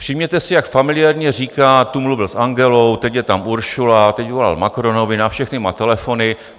Všimněte si, jak familiárně říká: tu mluvil s Angelou, teď je tam Ursula, teď volal Macronovi, na všechny má telefony.